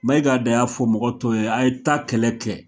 Maiga de y'a fɔ mɔgɔ tɔw ye a' ye taa kɛlɛ kɛ